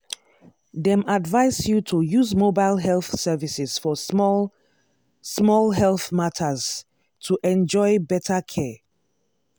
dem advise you to use mobile health services for small-small health matters to enjoy better care.